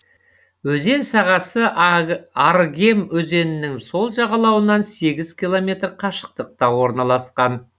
өзен сағасы арыгем өзенінің сол жағалауынан сегіз километр қашықтықта орналасқан